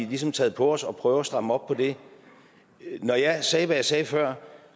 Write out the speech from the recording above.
ligesom taget på os at prøve at stramme op på det når jeg sagde hvad jeg sagde før